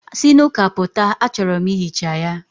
Si n'ụka pụta, achọrọ m ihicha ya.